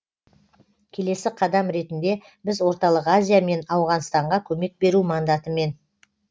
келесі қадам ретінде біз орталық азия мен ауғанстанға көмек беру мандатымен